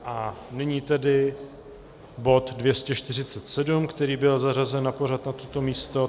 A nyní tedy bod 247, který byl zařazen na pořad na toto místo.